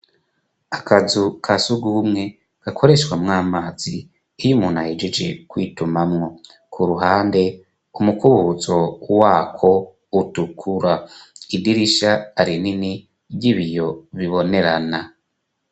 Akazu ka surwumwe, gakoreshwamwo amazi, iyo umuntu ahegeje kwitumamwo. Ku ruhande k'umukubutso wa ko utukura. Idirisha rinini, ry'ibiyo bibonerana.